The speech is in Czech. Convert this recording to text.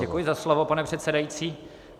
Děkuji za slovo, pane přesedající.